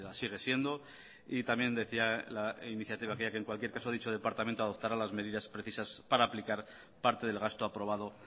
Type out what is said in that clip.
sigue siendo y también decía la iniciativa aquella que en cualquier caso dicho departamento adoptará las medidas precisas para aplicar parte del gasto aprobado